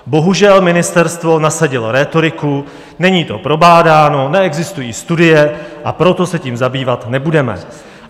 Bohužel, ministerstvo nasadilo rétoriku: Není to probádáno, neexistují studie, a proto se tím zabývat nebudeme.